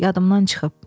Yadımdan çıxıb.